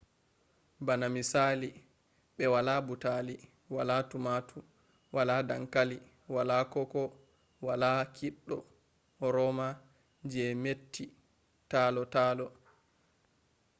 bana misali ɓe wala butali wala tomatu wala dankali wala koko bo wala kiɗɗo roma je metti talo talo